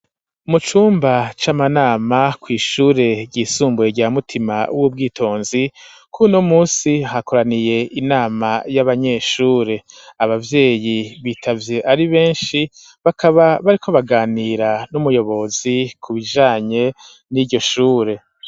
Mucumba c'amanama kw'ishure ryisumbuye rya mutima w'ubwitonzi kuno munsi hakoraniye inama y'abanyeshure abavyeyi bitavye ari benshi bakaba bariko baganira n'umuyobozi ku bijanye n'iryoshure.